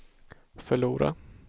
förlora